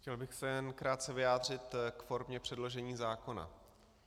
Chtěl bych se jen krátce vyjádřit k formě předložení zákona.